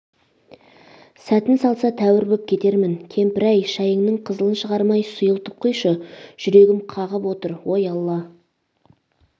сәтін салса тәуір боп кетермін кемпір әй шайыңның қызылын шығармай сұйылтып құйшы жүрегім қағып отыр ой алла